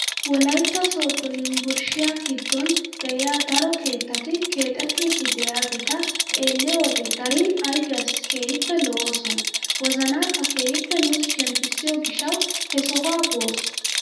Wolaytta sooddo yunburushiyaa giddon de'iyaa daro keettati keexettidi de'iyaageta xeelliyoo wode darin ayfiyaassi keehippe lo"oosona wozanaakka keehippe nuusi shemppisiyoo gishshawu he sohuwaa boos!